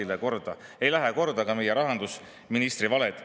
Neile ei lähe korda ka meie rahandusministri valed.